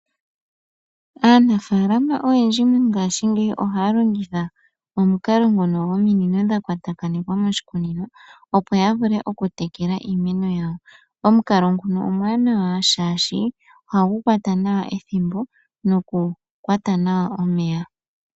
Aanafaalama oyendji mongaashingeyi ohaya longitha omukalo ngono gominino dha kwatakanekwa moshikunino opo ya vule oku tekela iimeno yawo ,omukalo nguno omuwanawa shaashi ohagu kwata nawa ethimbo noku kwata nawa omeya,.